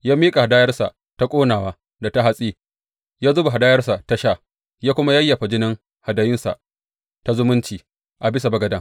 Ya miƙa hadayarsa ta ƙonawa da ta hatsi, ya zuba hadayarsa ta sha, ya kuma yayyafa jinin hadayunsa ta zumunci a bisa bagaden.